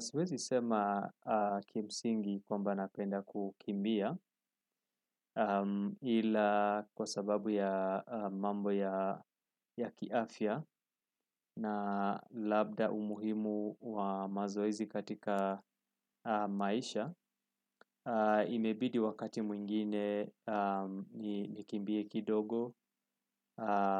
Siwezi sema kimsingi kwamba napenda kukimbia ila kwa sababu ya mambo ya kiafya na labda umuhimu wa mazoezi katika maisha. Imebidi wakati mwingine nikimbie kidogo